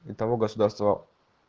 и того государства